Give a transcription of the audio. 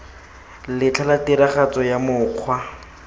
letlha la tiragatso ya mokgwa